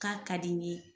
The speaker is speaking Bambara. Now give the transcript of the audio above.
K'a ka di n ye